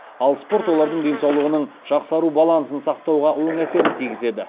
ал спорт олардың денсаулығының жақсару балансын сақтауға оң әсерін тигізеді